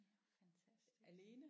Ja fantastisk